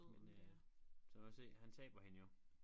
Men øh så kan du se han taber hende jo